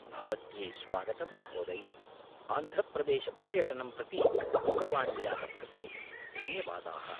भवत्यै स्वागतं, महोदये, आन्ध्रप्रदेशपर्यटनं प्रति दूरवाण्याः कृते धन्यवादाः।